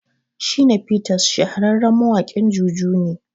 Shina Peters shahararren mawaƙin juju ne